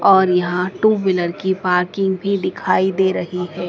और यहां two wheeler की पार्किंग भी दिखाई दे रही है।